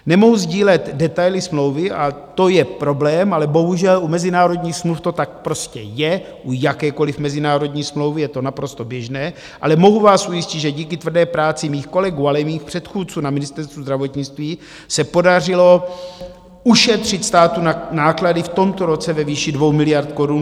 Nemohu sdílet detaily smlouvy, a to je problém, ale bohužel u mezinárodních smluv to tak prostě je, u jakékoliv mezinárodní smlouvy je to naprosto běžné, ale mohu vás ujistit, že díky tvrdé práci mých kolegů, ale i mých předchůdců na Ministerstvu zdravotnictví se podařilo ušetřit státu náklady v tomto roce ve výši 2 miliard korun.